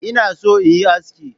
Inna son in yi aski.